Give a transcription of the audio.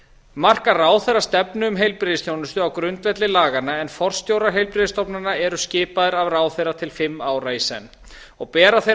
markar ráðherra stefnu um heilbrigðisþjónustu á grundvelli laganna en forstjórar heilbrigðisstofnana eru skipaðir af ráðherra til fimm ára í senn og bera þeir